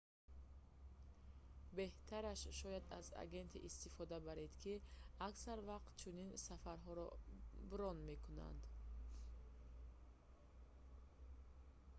беҳтараш шояд аз агенте истифода баред ки аксар вақт чунин сафарҳоро брон мекунад